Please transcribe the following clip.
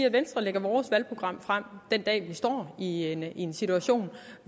i venstre lægger vores valgprogram frem den dag vi står i en en situation